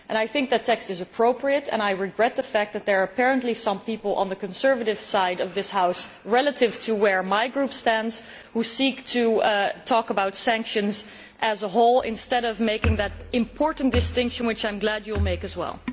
I think the text is appropriate and I regret the fact that there are apparently some people on the conservative side of this House relative to where my group stands, who seek to talk about sanctions as a whole, instead of making that important distinction which I am glad Mr Tannock will make as well.